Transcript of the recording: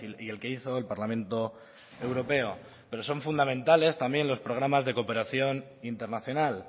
y el que hizo el parlamento europeo pero son fundamentales también los programas de cooperación internacional